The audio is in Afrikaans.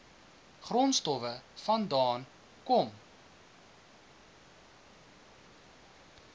grondstowwe vandaan kom